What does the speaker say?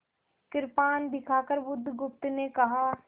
कृपाण दिखाकर बुधगुप्त ने कहा